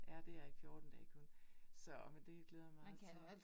Ja, det er i 14 dage kun. Så, men det glæder mig meget til